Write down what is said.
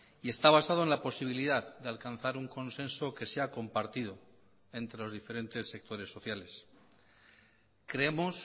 y está basado en la posibilidad de alcanzar un consenso que sea compartido entre los diferentes sectores sociales creemos